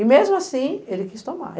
E mesmo assim ele quis tomar.